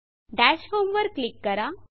dash home वर click करा